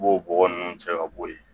I b'o bɔgɔ ninnu cɛ ka bɔ ye